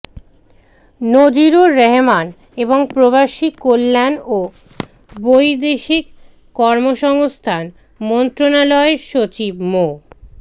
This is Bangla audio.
নজিবুর রহমান এবং প্রবাসী কল্যাণ ও বৈদেশিক কর্মসংস্থান মন্ত্রনালয়ের সচিব মো